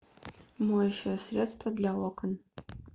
моющее средство для окон